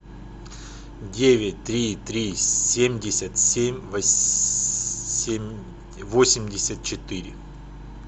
девять три три семьдесят семь восемьдесят четыре